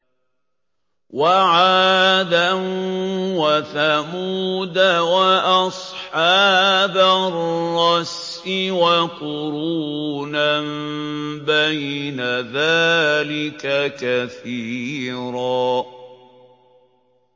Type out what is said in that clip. وَعَادًا وَثَمُودَ وَأَصْحَابَ الرَّسِّ وَقُرُونًا بَيْنَ ذَٰلِكَ كَثِيرًا